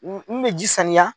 N n bɛ ji saniya